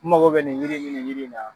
N mago bɛ nin jiri ni nin jiri in na.